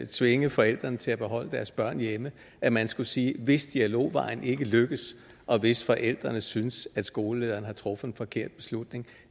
tvinge forældrene til at beholde deres børn hjemme at man skulle sige at hvis dialogvejen ikke lykkes og hvis forældrene synes at skolelederen har truffet en forkert beslutning